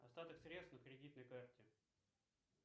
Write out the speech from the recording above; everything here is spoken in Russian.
остаток средств на кредитной карте